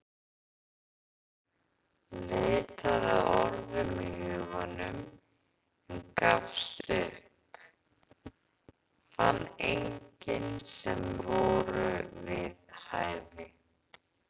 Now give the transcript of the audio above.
Leitaði að orðum í huganum en gafst upp, fann engin sem voru við hæfi.